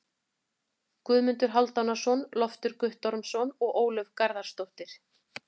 Guðmundur Hálfdanarson, Loftur Guttormsson og Ólöf Garðarsdóttir.